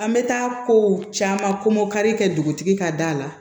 An bɛ taa kow caman komokari kɛ dugutigi ka da la